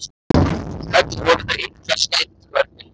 Öll voru þau illa skædd börnin mín.